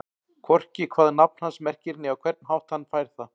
Hvorki hvað nafn hans merkir né á hvern hátt hann fær það.